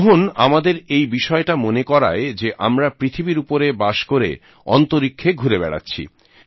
গ্রহণ আমাদের এই বিষয়টা মনে করায় যে আমরা পৃথিবীর উপরে বাস করে অন্তরীক্ষে ঘুরে বেড়াচ্ছি